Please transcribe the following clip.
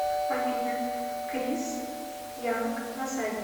афина крис янк на заднем